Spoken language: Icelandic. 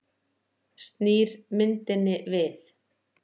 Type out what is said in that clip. Snýr myndinni við.